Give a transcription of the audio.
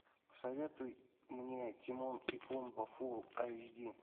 посоветуй мне тимон и пумба фул айч ди